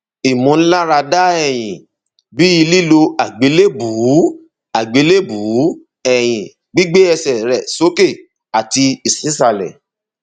ìmúláradá ẹyìn bí lílo àgbélébùú àgbélébùú ẹyìn gbígbé ẹsẹ rẹ sókè àti sísàlẹ